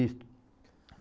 Isto.